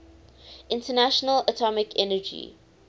international atomic energy